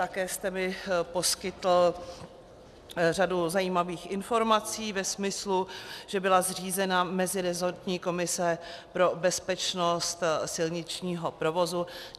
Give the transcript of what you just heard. Také jste mi poskytl řadu zajímavých informací ve smyslu, že byla zřízena meziresortní komise pro bezpečnost silničního provozu.